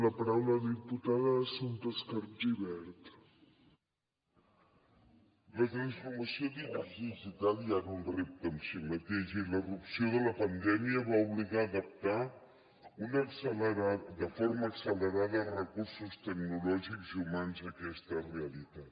la transformació digital ja era un repte en si mateix i la irrupció de la pandèmia va obligar a adaptar de forma accelerada els recursos tecnològics i humans a aquesta realitat